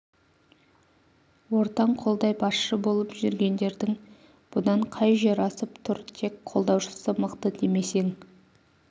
ортаң қолдай басшы болып жүргендердің бұдан қай жер асып тұр тек қолдаушысы мықты демесең